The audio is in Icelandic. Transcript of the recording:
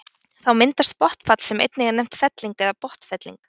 Þá myndast botnfall sem einnig er nefnt felling eða botnfelling.